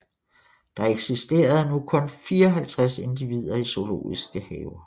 Der eksisterede nu kun 54 individer i zoologiske haver